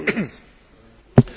Frau Präsidentin!